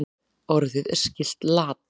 Orðið er skylt lat.